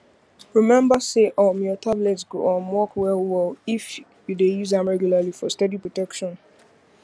remember say um your tablet go um work wellwell if you dey use am regularly for steady protection